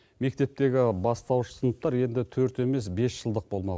мектептегі бастауыш сыныптар енді төрт емес бес жылдық болмау